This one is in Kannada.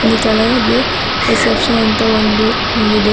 ಇಲ್ಲಿ ಕೆಳಗೆ ರಿಸೆಪ್ಶನ್ ಅಂತ ಒಂದು ರೂಮಿದೆ.